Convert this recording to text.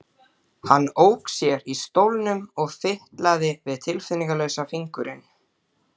Heimild: Uppskriftin er fengin frá Sigrúnu Davíðsdóttur.